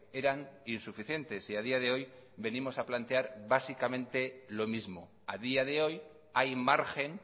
eran insuficientes y a día de hoy venimos a plantear básicamente lo mismo a día de hoy hay margen